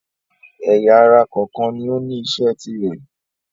ẹ̀yà-ara kọ̀ọ̀kan ni ó ní isẹ́ tirẹ̀.